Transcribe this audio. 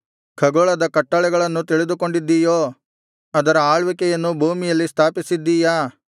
ಖಗೋಳದ ಕಟ್ಟಳೆಗಳನ್ನು ತಿಳಿದುಕೊಂಡಿದ್ದೀಯೋ ಅದರ ಆಳ್ವಿಕೆಯನ್ನು ಭೂಮಿಯಲ್ಲಿ ಸ್ಥಾಪಿಸಿದ್ದೀಯಾ